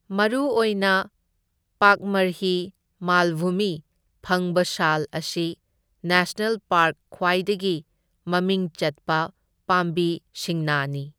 ꯃꯔꯨ ꯑꯣꯏꯅ ꯄꯥꯛꯃꯔꯍꯤ ꯃꯥꯜꯚꯨꯃꯤ ꯐꯪꯕ ꯁꯥꯜ ꯑꯁꯤ ꯅꯦꯁꯅꯦꯜ ꯄꯥꯔꯛ ꯈ꯭ꯋꯥꯏꯗꯒꯤ ꯃꯃꯤꯡ ꯆꯠꯄ ꯄꯥꯝꯕꯤ ꯁꯤꯡꯅꯥꯅꯤ꯫